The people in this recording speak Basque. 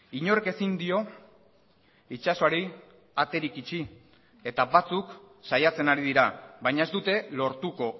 inork ezin dio itsasoari aterik itxi eta batzuk saiatzen ari dira baina ez dute lortuko